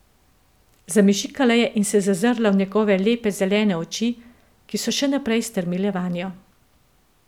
Zamežikala je in se zazrla v njegove lepe zelene oči, ki so še naprej strmele vanjo.